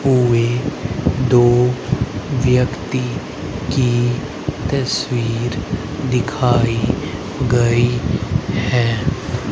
हुए दो व्यक्ति की तस्वीर दिखाई गई है।